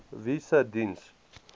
wie se diens